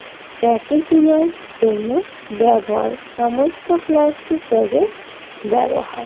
packaging এর জন্য ব্যবহার সমস্ত প্লাস্টিক ব্যাগের ব্যবহার